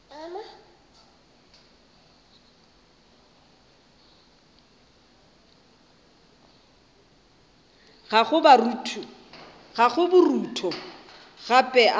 gago a borutho gape a